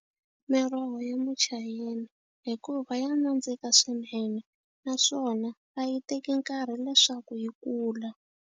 Miroho ya muchayeni hikuva ya nandzika swinene naswona a yi teki nkarhi leswaku yi kula.